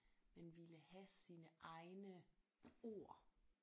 Man ville have sine egne ord